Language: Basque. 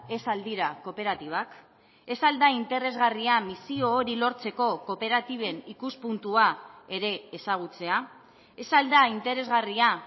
ez al dira kooperatibak ez al da interesgarria misio hori lortzeko kooperatiben ikuspuntua ere ezagutzea ez al da interesgarria